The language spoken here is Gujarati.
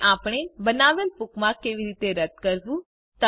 અને આપણે બનાવેલ બુકમાર્ક કેવી રીતે રદ કરવું